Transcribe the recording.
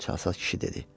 Çalsaz kişi dedi.